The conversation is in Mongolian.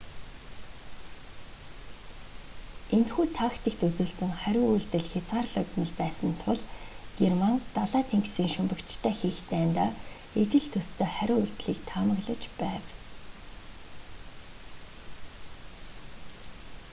энэхүү тактикт үзүүлсэн хариу үйлдэл хязгаарлагдмал байсан тул герман далай тэнгисийн шумбагчтай хийх дайндаа ижил төстэй хариу үйлдлийг таамаглаж байв